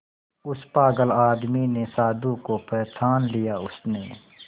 उस पागल आदमी ने साधु को पहचान लिया उसने